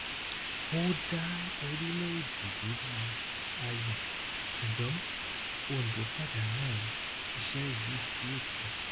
ó dá orílẹèdè lórí ayọ ṣùgbọn òǹdó pàdánù iṣẹ yìí sí èkó